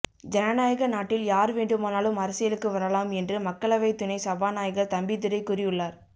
ஜனநாயக நாட்டில் யார்வேண்டுமானாலும் அரசியலுக்கு வரலாம் என்று மக்களவை துணை சபாநாயகர் தம்பிதுரை கூறியுள்ளார்